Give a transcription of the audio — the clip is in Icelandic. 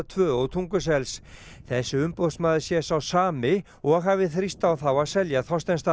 tvö og þessi umboðsmaður sé sá sami og hafi þrýst á þá að selja